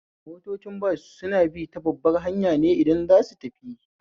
Motocin bas suna bi ta babbar hanya ne idan za suyi tafiya